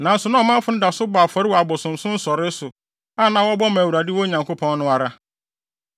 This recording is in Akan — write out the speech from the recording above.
Nanso na ɔmanfo no da so bɔ afɔre wɔ abosonsom nsɔree so, a na wɔbɔ ma Awurade wɔn Nyankopɔn no ara.